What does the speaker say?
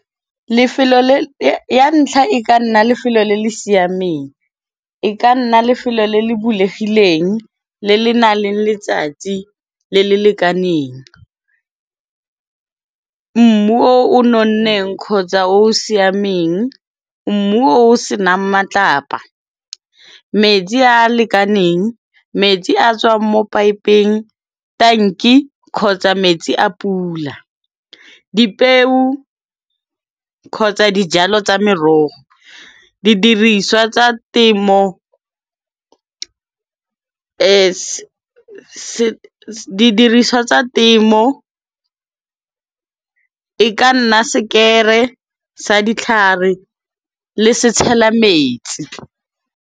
Ya ntlha e ka nna lefelo le le siameng, e ka nna lefelo le le bulegileng le le nang le letsatsi le le lekaneng. Mmu o o nonneng kgotsa o o siameng, mmu o o senang matlapa, metsi a lekaneng, metsi a tswang mo paepeng, tanke, kgotsa metsi a pula. Dipeo kgotsa dijalo tsa merogo, didiriswa tsa temo, e ka nna sekere sa ditlhare le setshela metsi.